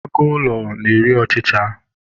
Agụ ụlọ na-eri ọchicha